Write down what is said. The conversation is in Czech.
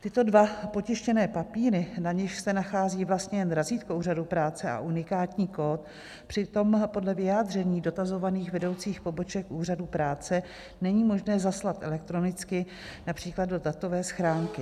Tyto dva potištěné papíry, na nichž se nachází vlastně jen razítko úřadu práce a unikátní kód, přitom podle vyjádření dotazovaných vedoucích poboček úřadu práce není možné zaslat elektronicky, například do datové schránky.